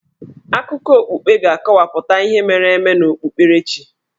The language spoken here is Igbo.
Akụkọ okpukpe ga-akọwapụta ihe mere eme n'okpukperechi.